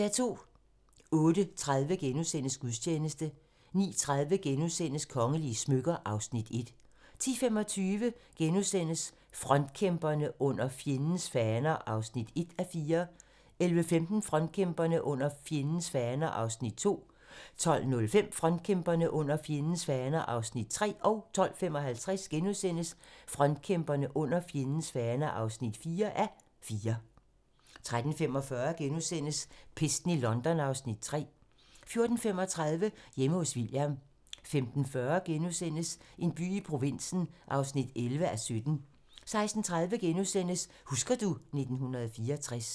08:30: Gudstjeneste * 09:30: Kongelige smykker (Afs. 1)* 10:25: Frontkæmperne: Under fjendens faner (1:4)* 11:15: Frontkæmperne: Under fjendens faner (2:4)* 12:05: Frontkæmperne: Under fjendens faner (3:4)* 12:55: Frontkæmperne: Under fjendens faner (4:4)* 13:45: Pesten i London (Afs. 3)* 14:35: Hjemme hos William 15:40: En by i provinsen (11:17)* 16:30: Husker du ... 1964 *